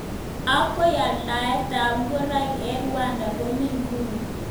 Ako aldaet ab ngoroik eng Rwanda komi nguny.